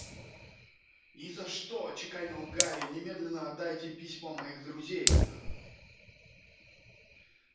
ни за что отчеканил гарри немедленно отдайте письма моих друзей